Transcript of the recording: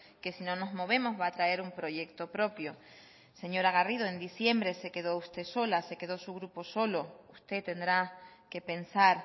que si no nos movemos va a traer un proyecto propio señora garrido en diciembre se quedó usted sola se quedó su grupo solo usted tendrá que pensar